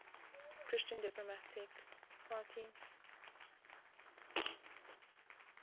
christian democratic party